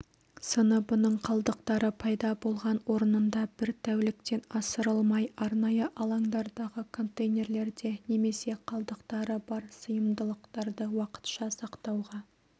сыныбының қалдықтары пайда болған орнында бір тәуліктен асырылмай арнайы алаңдардағы контейнерлерде немесе қалдықтары бар сыйымдылықтарды уақытша сақтауға